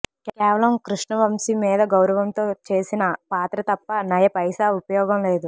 కేవలం కృష్ణ వంశీ మీద గౌరవంతో చేసిన పాత్ర తప్ప నయ పైసా ఉపయోగం లేదు